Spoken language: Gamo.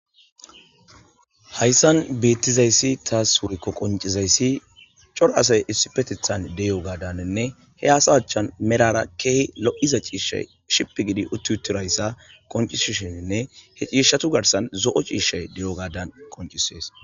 Hayisani betizayisi woyikko tasi qoniccizayisi cora asayi issippetethani deiyogadane he asa achchani medhora kehi loiza cishshay cippi gi utidayisa qoncisishenne he cishshatu garisani zoo cishshayi diyo gadani qonicisesi